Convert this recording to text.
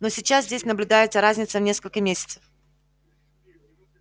но сейчас здесь наблюдается разница в несколько месяцев